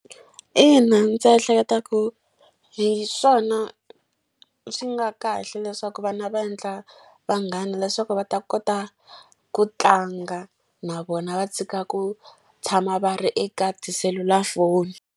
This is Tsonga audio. Ina, ndzi ehleketa ku hi swona swi nga kahle leswaku vana va endla vanghana leswaku va ta kota ku tlanga na vona, va tshika ku tshama va ri eka tiselulafoni.